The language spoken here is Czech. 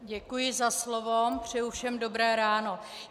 Děkuji za slovo, přeji všem dobré ráno.